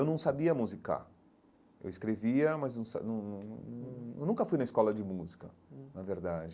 Eu não sabia musicar, eu escrevia, mas eu sa nun nun nun nunca fui na escola de música hum, na verdade.